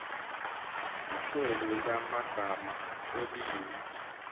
ihlelo lamagama olimi